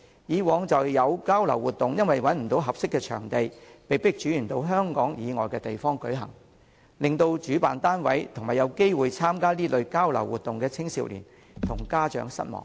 過往便曾有交流活動因找不到合適場地，被迫轉至香港以外的地方舉行，令主辦單位及有機會參加該活動的青少年和家長失望，